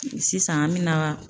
Sisan an mina